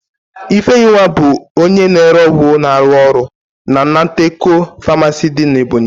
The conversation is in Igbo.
Ifeyinwa bụ onye na-ere ọgwụ na-arụ ọrụ na Nateco famaasi dị n'Ebonyi.